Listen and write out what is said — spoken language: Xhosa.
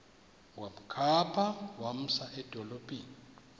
wamkhapha wamsa edolophini